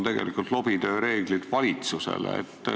Meie ei ole sellest üldse rääkinud.